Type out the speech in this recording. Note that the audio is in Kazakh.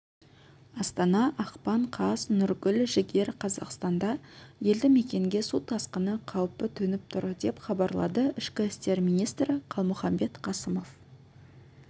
астана ақпан қаз нұргүл жігер қазақстанда елді мекенге су тасқыны қаупі төніп тұр деп хабарлады ішкі істер министрі қалмұханбет қасымов